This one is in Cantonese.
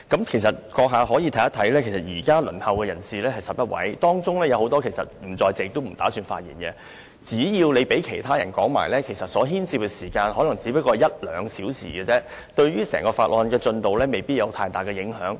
其實，你可以看看，現時輪候發言的議員有11位，當中有很多並不在席或不打算發言，只要你讓其他想發言的議員發言，所牽涉的時間可能只是一兩小時，對於整項法案的進度未必有太大的影響。